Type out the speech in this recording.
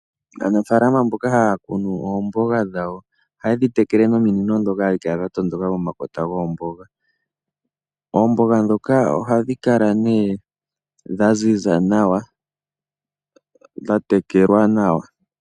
Aanafalama mboka haya kunu oomboga dhawo. Ohaye dhi tekele nominino dhoka hadhi kala dha tondoka momakota goomboga. Oomboga dhoka ohadhi kala nee dha ziza nawa , dha tekelwa nawa.